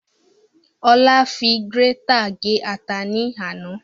Ola fi gírétà gé ata ní àná